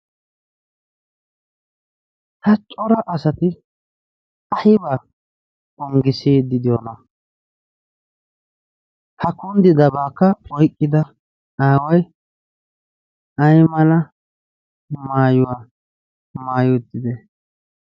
ha cora asati aibaa onggisiid didyoona ha kunddidabaakka oiqqida aawai ai mala maayuwaa maayi uittidona